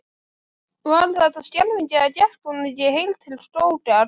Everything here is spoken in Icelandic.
Var þetta skelfing eða gekk hún ekki heil til skógar?